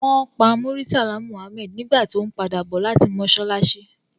Won pa Murtala Muhammed nigba to n pada bo lati mosalasi